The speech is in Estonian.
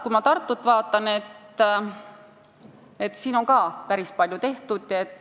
Kui ma Tartut vaatan, siis seal on ka päris palju tehtud.